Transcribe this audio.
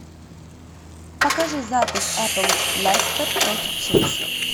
покажи запись апл лестер против челси